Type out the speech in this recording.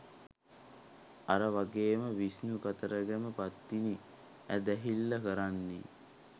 අර වගේම විෂ්ණු කතරගම පත්තිනි ඇදහිල්ල කරන්නේ